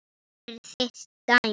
Þetta er þitt dæmi.